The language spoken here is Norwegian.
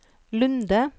Lunde